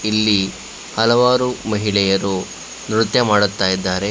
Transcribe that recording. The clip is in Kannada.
ಇಲ್ಲಿ ಹಲವಾರು ಮಹಿಳೆಯರು ನೃತ್ಯ ಮಾಡುತ್ತಿದ್ದಾರೆ.